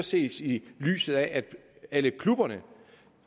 ses i lyset af at alle klubberne